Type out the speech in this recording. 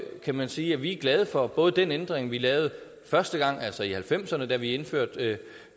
kan man sige at vi er glade for både den ændring vi lavede første gang altså i nitten halvfemserne da vi indførte